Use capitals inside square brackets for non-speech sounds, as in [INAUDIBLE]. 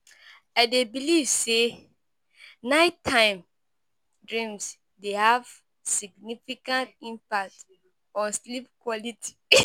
I dey believe say nighttime dreams dey have significant impact on sleep quality. [LAUGHS]